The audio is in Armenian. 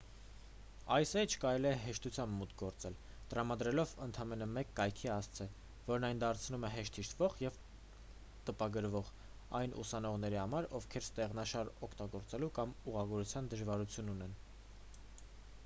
այս էջ կարելի է հեշտությամբ մուտք գործել տրամադրելով ընդամենը մեկ կայքի հասցե որն այն դարձնում է հեշտ հիշվող և տպագրվող այն ուսանողների համար ովքեր ստեղշնաշար օգտագործելու կամ ուղղագրության դժվարություն ունեն